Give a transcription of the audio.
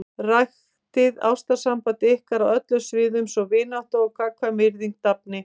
Ræktið ástarsamband ykkar á öllum sviðum svo vinátta og gagnkvæm virðing dafni.